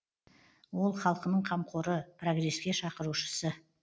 ол халкының қамқоры прогреске шақырушысы